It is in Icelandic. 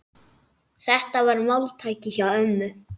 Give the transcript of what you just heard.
Þetta var máltæki hjá ömmu.